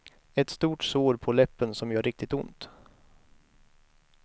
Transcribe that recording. Ett stort sår på läppen, som gör riktigt ont.